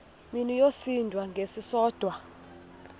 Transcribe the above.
mini yosinda ngesisodwa